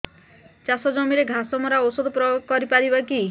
ଚାଷ ଜମିରେ ଘାସ ମରା ଔଷଧ ପ୍ରୟୋଗ କରି ପାରିବା କି